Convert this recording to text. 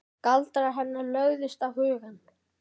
Galdrar hennar lögðust á hugann.